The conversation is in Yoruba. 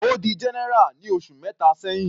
Ó di general ní oṣù mẹta sẹ́hìn.